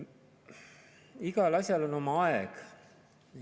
Igal asjal on oma aeg.